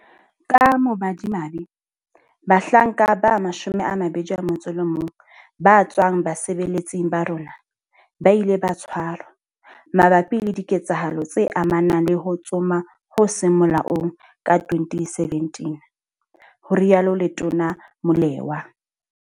Ka bomadimabe, bahlanka ba 21 ba tswang basebeletsing ba rona, ba ile ba tshwarwa mabapi le diketsahalo tse amanang le ho tsoma ho seng molaong ka 2017, ho rialo Letona Molewa.